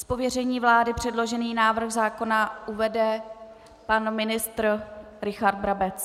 Z pověření vlády předložený návrh zákona uvede pan ministr Richard Brabec.